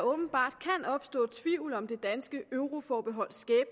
åbenbart kan opstå tvivl om det danske euroforbeholds